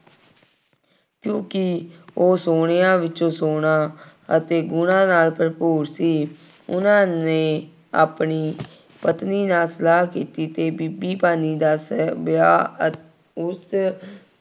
ਕਿਉਂਕਿ ਉਹ ਸੋਹਣਿਆਂ ਵਿੱਚੋਂ ਸੋਹਣਾ ਅਤੇ ਗੁਣਾਂ ਨਾਲ ਭਰਪੂਰ ਸੀ। ਉਹਨਾ ਨੇ ਆਪਣੀ ਪਤਨੀ ਨਾਲ ਸਲਾਹ ਕੀਤੀ ਤੇ ਬੀਬੀ ਭਾਨੀ ਦਾ ਸਾਹਿਬ-ਵਿਆਹ ਅਤੇ ਉਸ